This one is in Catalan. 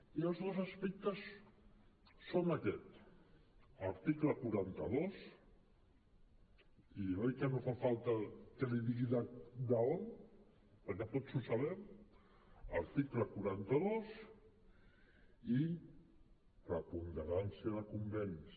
i els dos aspectes són aquests article quaranta dos i oi que no fa falta que li digui d’on perquè tots ho sabem i preponderància de convenis